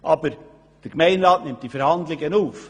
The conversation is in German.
Doch der Gemeinderat nimmt diese Verhandlungen auf.